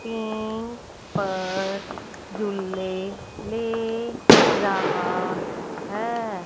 Pink पर झूले ले रहा है।